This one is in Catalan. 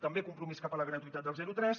també compromís cap a la gratuïtat del zero tres